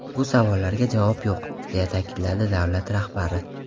Bu savollarga javob yo‘q”, deya ta’kidladi davlat rahbari.